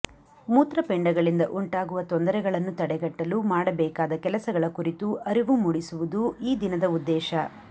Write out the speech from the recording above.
ಮೂತ್ರಪಿಂಡಗಳಿಂದ ಉಂಟಾಗುವ ತೊಂದರೆಗಳನ್ನು ತಡೆಗಟ್ಟಲು ಮಾಡಬೇಕಾದ ಕೆಲಸಗಳ ಕುರಿತು ಅರಿವು ಮೂಡಿಸುವು ಈ ದಿನದ ಉದ್ದೇಶ